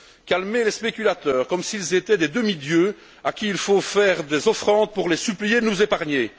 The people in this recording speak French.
Calmer les spéculateurs comme s'ils étaient des demi dieux à qui il faut faire des offrandes pour les supplier de nous épargner.